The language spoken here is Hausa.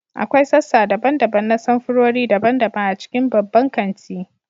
akwai sassa daban-daban na samfurori daban-daban a cikin babban kanti